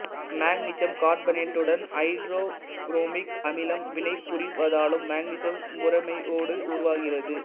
magnesium கார்பனேட்டுடன் ஐதரோபுரோமிக் அமிலம் வினை புரிவதாலும் மக்னீசியம் புரோமைடு உருவாகிறது